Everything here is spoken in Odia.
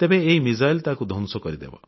ତେବେ ଏହି କ୍ଷେପଣାସ୍ତ୍ର ତାକୁ ଧ୍ୱଂସ କରିଦେବ